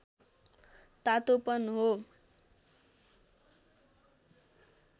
तातोपन हो